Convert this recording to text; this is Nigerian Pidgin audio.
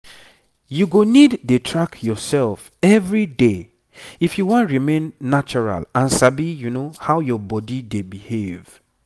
you go need dey track yourself every day if you wan remain natural and sabi how your body dey behav